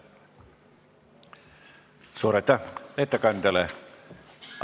Suur aitäh ettekandjale!